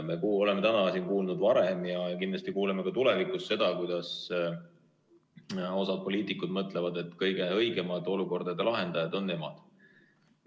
Me oleme kuulnud varem ja kindlasti kuuleme ka tulevikus seda, kuidas osa poliitikuid mõtleb, et kõige õigemad olukordade lahendajad on nemad.